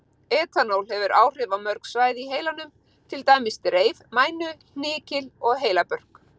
Etanól hefur áhrif á mörg svæði í heilanum, til dæmis dreif, mænu, hnykil og heilabörk.